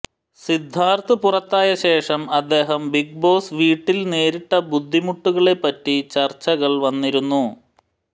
സിദ്ധാർഥ് പുറത്തായ ശേഷം അദ്ദേഹം ബിഗ് ബോസ് വീട്ടിൽ നേരിട്ട ബുദ്ധിമുട്ടുകളെപ്പറ്റി ചർച്ചകൾ വന്നിരുന്നു